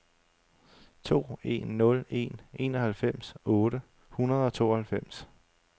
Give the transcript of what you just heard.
to en nul en enoghalvfems otte hundrede og tooghalvfems